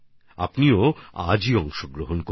আপনারাও আজই এতে অংশগ্রহণ করুন